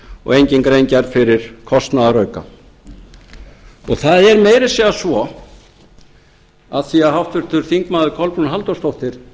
og engin grein gerð fyrir kostnaðarauka það er meira að segja svo af því að háttvirtir þingmenn kolbrún halldórsdóttir spurði